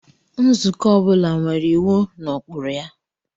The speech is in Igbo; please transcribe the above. Nzukọ ọ bụla nwere iwu na ụkpụrụ ya.